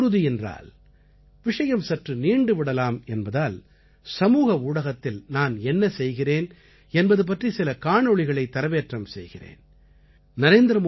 ஆனால் உடலுறுதி என்றால் விஷயம் சற்று நீண்டு விடலாம் என்பதால் சமூக ஊடகத்தில் நான் என்ன செய்கிறேன் என்பது பற்றி சில காணொளிகளை தரவேற்றம் செய்கிறேன்